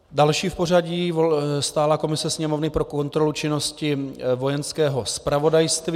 Další v pořadí - stálá komise Sněmovny pro kontrolu činnosti Vojenského zpravodajství.